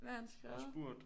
Hvad har han skrevet